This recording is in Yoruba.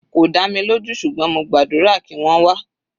Kò dá mi lójú ṣùgbọ́n mo gbàdúrà kí wọ́n wá.